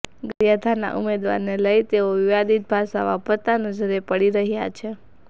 ગારિયાધારનાં ઉમેવારને લઈ તેઓ વિવાદીત ભાષા વાપરતા નજરે પડી રહ્યાં છે